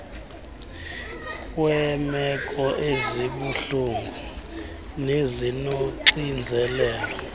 kweemeko ezibuhlungu nezinoxinzelelo